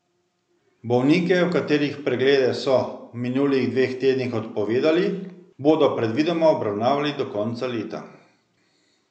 Bolnike, katerih preglede so v minulih dveh tednih odpovedali, bodo predvidoma obravnavali do konca leta.